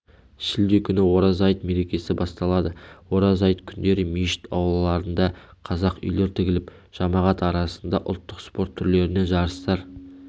шілде күні ораза айт мерекесі басталады ораза айт күндері мешіт аулаларына қазақ үйлер тігіліп жамағат арасында ұлттық спорт түрлерінен жарыстар